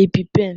Epi-pen